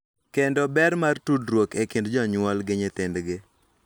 Kendo ber mar tudruok e kind jonyuol gi nyithindgi.